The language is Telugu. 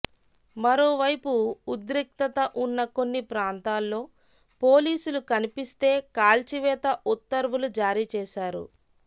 మరోవైపు ఉద్రిక్తత ఉన్న కొన్ని ప్రాంతాల్లో పోలీసులు కనిపిస్తే కాల్చివేత ఉత్తర్వులు జారీ చేశారు